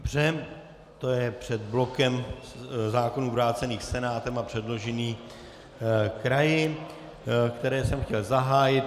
Dobře, to je před blokem zákonů vrácených Senátem a předložených kraji, které jsem chtěl zahájit.